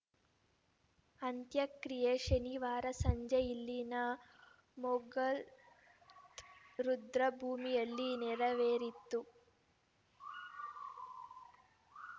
ಅಂತ್ಯಕ್ರಿಯೆ ಶನಿವಾರ ಸಂಜೆ ಇಲ್ಲಿನ ಮೌಗಲ್‌ ರುದ್ರಭೂಮಿಯಲ್ಲಿ ನೆರವೇರಿತು